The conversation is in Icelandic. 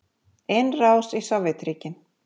Innrás í Sovétríkin.